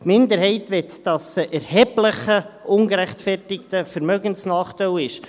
Die Minderheit möchte, dass es ein «erheblicher ungerechtfertigter Vermögensnachteil» ist.